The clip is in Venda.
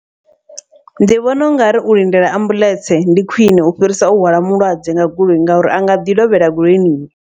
Ndi vhona ungari u lindela ambuḽentse ndi khwiṋe u fhirisa u hwala mulwadze nga goloi ngauri a nga ḓi lovhela goloini.